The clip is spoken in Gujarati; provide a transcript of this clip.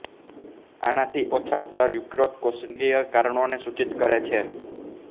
આનાથી ઓછા સ્તર યકૃતકોશિકીય કારણોં ને સૂચિત કરે છે